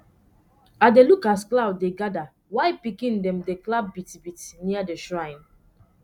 i dey look as cloud dey gather while pikin dem dey clap beat beat near the shrine